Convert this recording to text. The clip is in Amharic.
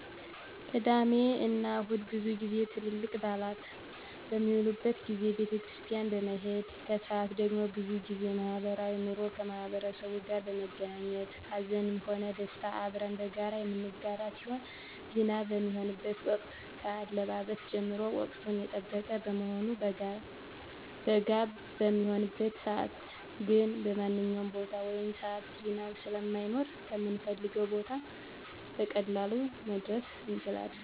ቅዳሜ እና እሁድ ብዙ ጊዜ ትልልቅ በአላት በሚዉሉበት ጊዜ ቤተክርስቲያን በመሄድ ከሰአት ደግሞ ብዙ ጊዜ ማህበራዊ ኑሮ ከማህበረሰቡ ጋር በመገናኘት ሀዘንም ሆነ ደስታ አብረን በጋራ የምንጋራ ሲሆን ዝናብ በሚሆንበት ወቅት ከአለባበስ ጀምሮ ወቅቱን የጠበቀ በመሆኑ በጋ በሚሆንበት ሰዓትግን በማንኛዉም ቦታ ወይም ሰዓት ዝናብ ስለማይኖር ከምንፈልገዉ ቦታ በቀላሉ መድረስ እንችላለን